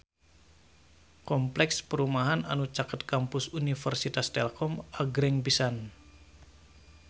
Kompleks perumahan anu caket Kampus Universitas Telkom agreng pisan